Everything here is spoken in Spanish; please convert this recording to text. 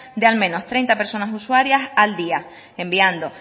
de al menos treinta personas usuarias al día enviando